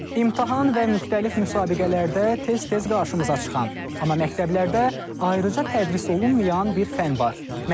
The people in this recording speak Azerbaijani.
İmtahan və müxtəlif müsabiqələrdə tez-tez qarşımıza çıxan, amma məktəblərdə ayrıca tədris olunmayan bir fən var, məntiq.